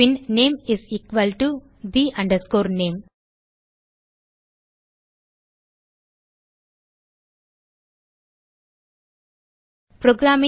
bin name is equal to the name